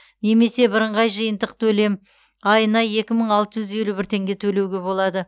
немесе бірыңғай жиынтық төлем айына екі мың алты жүз елу бір теңге төлеуге болады